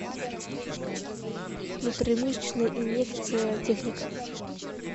внутримышечная инъекция техника